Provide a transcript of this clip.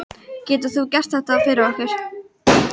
Getur þú gert þetta fyrir okkur?